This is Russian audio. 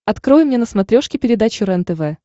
открой мне на смотрешке передачу рентв